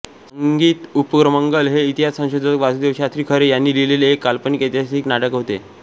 संगीत उग्रमंगल हे इतिहास संशोधक वासुदेवशास्त्री खरे यांनी लिहिलेले एक काल्पनिक ऐतिहासिक नाटक होते